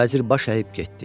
Vəzir baş əyib getdi.